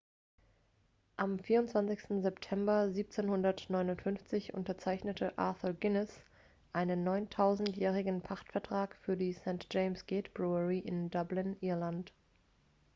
am 24 september 1759 unterzeichnete arthur guinness einen 9000-jährigen pachtvertrag für die st. james' gate brewery in dublin irland